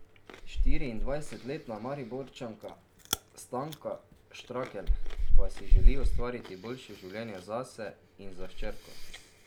Štiriindvajsetletna Mariborčanka Stanka Štrakelj pa si želi ustvariti boljše življenje zase in za hčerko.